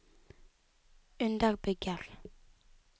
underbygger